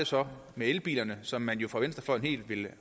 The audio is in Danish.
så med elbilerne som man jo fra venstrefløjen helt ville